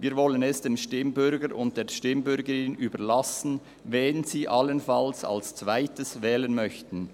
Wir wollen es dem Stimmbürger und der Stimmbürgerin überlassen, wen sie allenfalls als zweites wählen möchten.